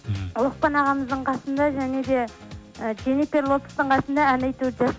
лұқпан ағамыздың қасында және де і дженнифер лопестің қасында ән айтуды